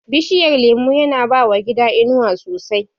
Bishiyar lemo yana bawa gida inuwa sosai